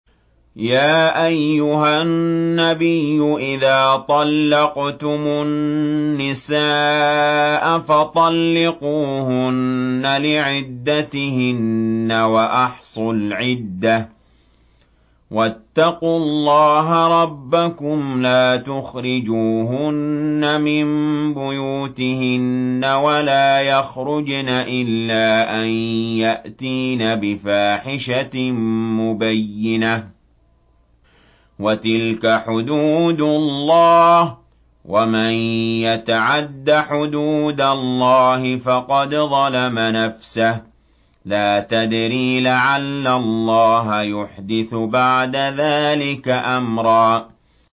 يَا أَيُّهَا النَّبِيُّ إِذَا طَلَّقْتُمُ النِّسَاءَ فَطَلِّقُوهُنَّ لِعِدَّتِهِنَّ وَأَحْصُوا الْعِدَّةَ ۖ وَاتَّقُوا اللَّهَ رَبَّكُمْ ۖ لَا تُخْرِجُوهُنَّ مِن بُيُوتِهِنَّ وَلَا يَخْرُجْنَ إِلَّا أَن يَأْتِينَ بِفَاحِشَةٍ مُّبَيِّنَةٍ ۚ وَتِلْكَ حُدُودُ اللَّهِ ۚ وَمَن يَتَعَدَّ حُدُودَ اللَّهِ فَقَدْ ظَلَمَ نَفْسَهُ ۚ لَا تَدْرِي لَعَلَّ اللَّهَ يُحْدِثُ بَعْدَ ذَٰلِكَ أَمْرًا